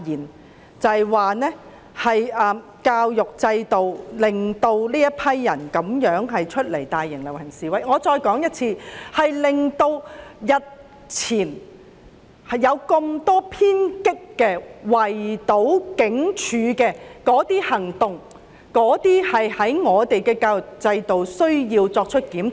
我再說一次，我認為教育制度令年輕人走出來參與大型遊行示威，以及作出日前多宗偏激的、圍堵警署的行動，我們應檢討教育制度。